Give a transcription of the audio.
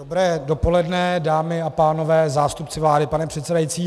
Dobré dopoledne, dámy a pánové, zástupci vlády, pane předsedající.